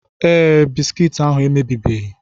Ee, Bisikiiti ahu emebibeghị.